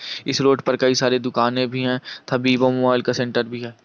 इस रोड पर कई सारे दुकाने भी है थवीवो मोबाइल का सेण्टर भी है।